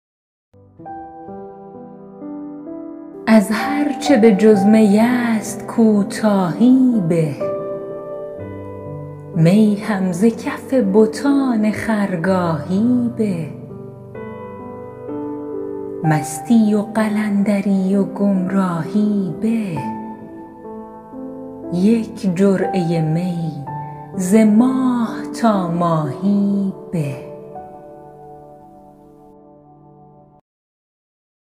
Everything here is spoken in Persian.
از هرچه بجز می است کوتاهی به می هم ز کف بتان خرگاهی به مستی و قلندری و گمراهی به یک جرعه می ز ماه تا ماهی به